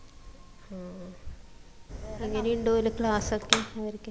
ആ എങ്ങനെ ഇണ്ടോലും class ക്കെ അവരിക്ക്